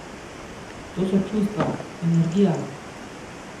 To so čustva, energija!